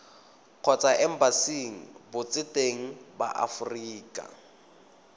kgotsa embasing botseteng ba aforika